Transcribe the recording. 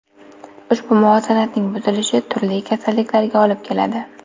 Ushbu muvozanatning buzilishi turli kasalliklarga olib keladi.